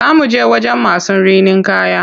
Za muje wajen masu rinin kaya.